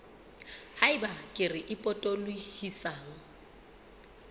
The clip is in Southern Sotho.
ha eba kere e potolohisang